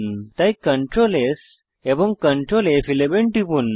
তাই Ctrl S এবং Ctrl ফ11 টিপুন